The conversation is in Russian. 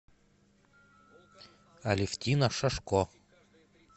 алевтина шашко